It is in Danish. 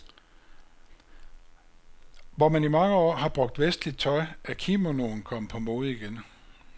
Hvor man i mange år har brugt vestligt tøj, er kimonoen kommet på mode igen.